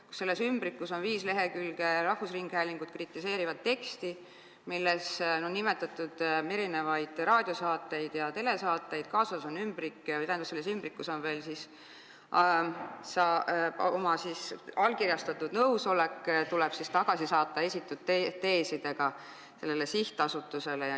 Neile saadetud ümbrikes on viis lehekülge rahvusringhäälingut kritiseerivat teksti, milles on nimetatud mitmeid raadio- ja telesaateid, ning veel on seal esitatud teesidega nõusolek, mis tuleb allkirjastatult sellele sihtasutusele tagasi saata.